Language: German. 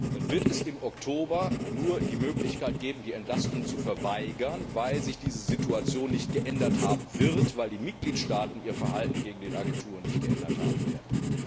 dann wird es im Oktober nur die Möglichkeit geben, die Entlastung zu verweigern, weil sich diese Situation nicht geändert haben wird, weil die Mitgliedstaaten ihr Verhalten gegenüber den Agenturen nicht geändert haben werden.